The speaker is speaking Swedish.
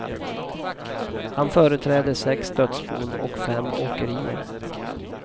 Han företräder sex dödsbon och fem åkerier.